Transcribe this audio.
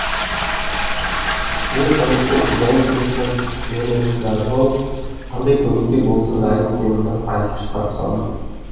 мен үміттің ұялы телефон нөмірін жазып алып қандай көмекке болсын дайын екенімді айтып шығарып салдым